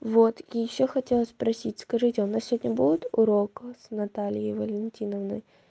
вот и ещё хотела спросить скажите у нас сегодня будет урок с натальей валентиновной